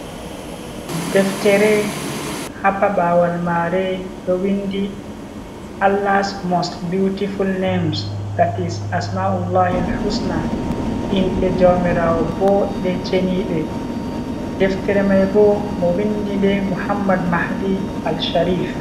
Deftere ha paɓawal mare ɗo vindi Allah's most beautiful names, that is asma'ullahil husna inde jaumirawo boɗɗe cheniɗe deftere mai bo mo windi nde muhammad mahdi Al sharif.